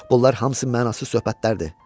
Bunlar hamısı mənasız söhbətlərdir.